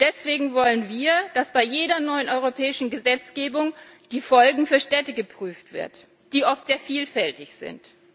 Deswegen wollen wir, dass bei jeder neuen europäischen Gesetzgebung die Folgen für Städte geprüft werden, die oft sehr vielfältig sind.